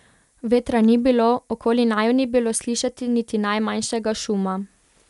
Vetra ni bilo, okoli naju ni bilo slišati niti najmanjšega šuma.